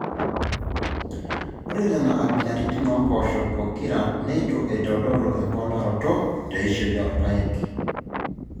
Ore Nena abilaritin oompoosho pokira neitu eitodolu emponaroto teishoi oorpaek.